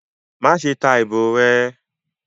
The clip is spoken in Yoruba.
Maṣe ta ibo rẹ!